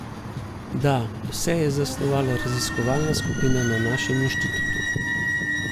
Da, vse je zasnovala raziskovalna skupina na našem inštitutu.